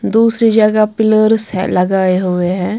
दूसरी जगह पिलर्स है लगाए हुए हैं।